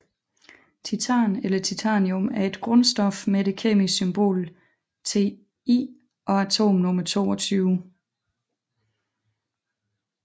Titan eller titanium er et grundstof med det kemiske symbol Ti og atomnummer 22